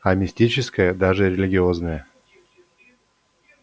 а мистическое даже религиозное